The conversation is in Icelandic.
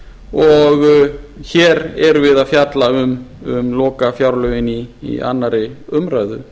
og hér erum við að fjalla um lokafjárlögin í annarri umræðu